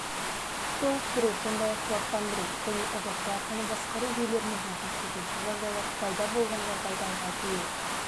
толықтыру сондай-ақ құлақтандыру және эвакуацияны басқару жүйелерін орнату төтенше жағдайлар пайда болған жағдайда жалпы өрт